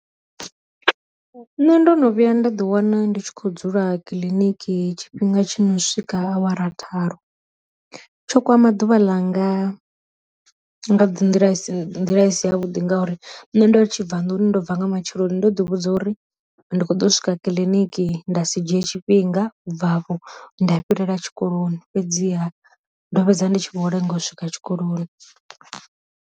Nṋe ndo no vhuya nda ḓi wana ndi tshi khou dzula kiḽiniki tshifhinga tshi no swika awara tharu, tsho kwama ḓuvha ḽa nga nḓila i si nḓila isi ya vhuḓi ngauri nṋe ndo ri tshi bva nḓuni ndo bva nga matsheloni ndo ḓi vhudza uri ndi kho ḓo swika kiḽiniki nda si dzhiye tshifhinga u bvafho nda fhirela tshikoloni, fhedziha ndo vhedza ndi tshi vho lenga u swika tshikoloni.